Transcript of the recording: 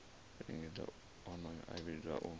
lingedza honoho a vhidzwa u